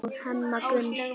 og Hemma Gunn.